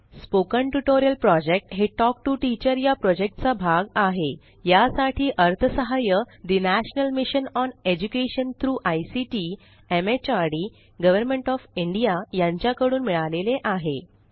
spoken tutorial project हे talk to teacher चा भाग आहेयासाठी अर्थसहाय्य ठे national mission on education through ICT MHRD government of India यांच्या कडून मिळाले आहे